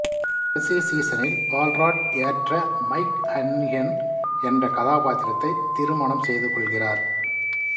கடைசி சீசனில் Paul Rudd ஏற்ற மைக் ஹன்னிகன் என்ற கதாபாத்திரத்தை திருமணம் செய்து கொள்கிறார்